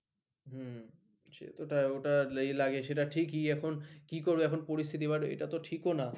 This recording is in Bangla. ওটা লাগে সেটা ঠিকই এখন কি করব এখন পরিস্থিতি but এটা তো ঠিক ও না